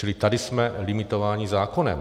Čili tady jsme limitováni zákonem.